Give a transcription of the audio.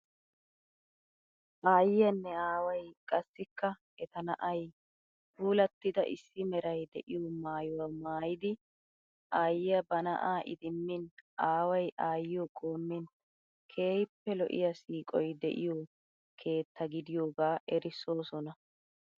Aayyiyaanne aaway qassikka eta na"ay puulattida issi meray de"iyoo maayuwa maayidi aayyiya ba na"aa idimmin aaway aayyiyo qoommin keehippe lo"iyaa siiqoy de"iyoo keetta gidiyoogaa erissoosona.